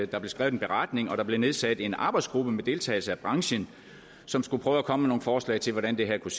der blev skrevet en beretning og der blev nedsat en arbejdsgruppe med deltagelse af branchen som skulle prøve at komme med nogle forslag til hvordan det her kunne